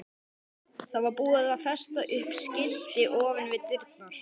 Það var búið að festa upp skilti ofan við dyrnar.